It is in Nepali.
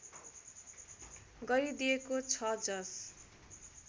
गरिदिएको छ जस